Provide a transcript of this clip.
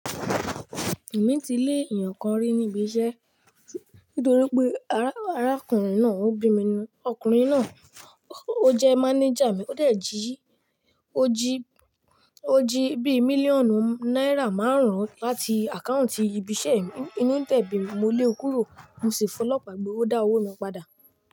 Èmi ti lé èèyàn kan rí ní ibi iṣẹ́ nítorí pé arákùnrin náà ó bì mi nu. Ọkùnrin náà ó jẹ́ mánéjà mi, ó dẹ̀ jí, ó jí, ó jí bí i mílíọ̀nù náírà márùn-ún láti àkáùntì ibi iṣẹ́ mi. Inú dé bí mí, mo lé e kúrò, mo sì fọlọ́pàá gbé, ó dá owó mi padà.